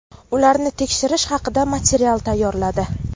ularni tekshirish haqida material tayyorladi.